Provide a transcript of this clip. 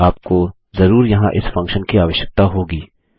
आपको जरूर यहाँ इस फंक्शन की आवश्यकता होगी